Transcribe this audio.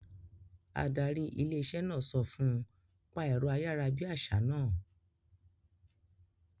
Adarí ilé-iṣẹ́ náà sọ fún un; pa ẹ̀rọ ayárabíàṣá náà